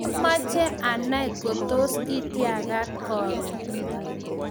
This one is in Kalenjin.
Amache anai kotos itiagat karon